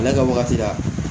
Ale ka wagati la